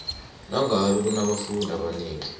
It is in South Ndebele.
nangabe kunabafundi abanengi